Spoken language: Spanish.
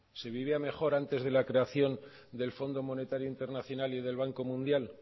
se vivía mejor antes de la creación del fondo monetario internacional y del banco mundial